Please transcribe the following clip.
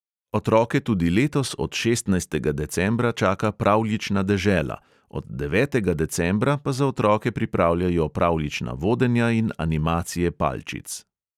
Otroke tudi letos od šestnajstega decembra čaka pravljična dežela, od devetega decembra pa za otroke pripravljajo pravljična vodenja in animacije palčic.